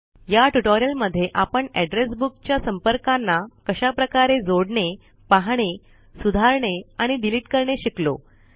या ट्यूटोरियल मध्ये आपण एड्रेस बुक च्या संपर्कांना कशाप्रकारे जोडणे पाहणे सुधारणे आणि डिलीट करणे शिकलो